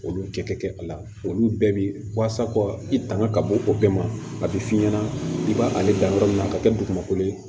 Olu tɛ kɛ a la olu bɛɛ bɛ waasa kɔ i tanŋa ka bɔ o bɛɛ ma a bɛ f'i ɲɛna i b'a ale dan yɔrɔ min na ka kɛ dugumakolo ye